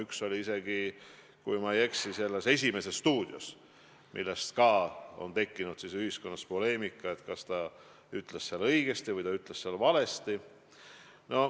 Üks oli isegi, kui ma ei eksi, "Esimeses stuudios", millega samuti kaasnes ühiskonnas poleemika, et kas ta ütles seal õigesti või ütles ta valesti.